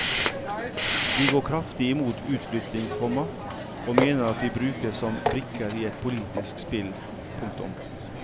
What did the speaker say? De går kraftig imot utflytting, komma og mener de brukes som brikker i et politisk spill. punktum